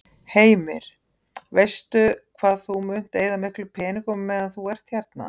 Heimir: Veistu hvað þú munt eyða miklum peningum á meðan þú ert hérna?